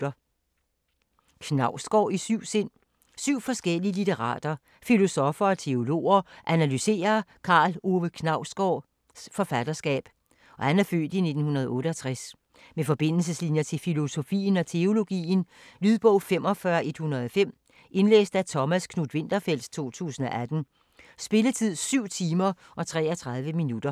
Knausgård i syv sind Syv forskellige litterater, filosoffer og teologer analyserer Karl Ove Knausgårds (f. 1968) forfatterskab med forbindelseslinjer til filosofien og teologien. Lydbog 45105 Indlæst af Thomas Knuth-Winterfeldt, 2018. Spilletid: 7 timer, 33 minutter.